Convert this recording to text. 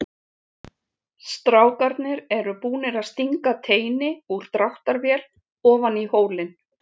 Strákarnir eru búnir að stinga teini úr dráttarvél ofan í hólinn.